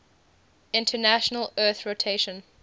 international earth rotation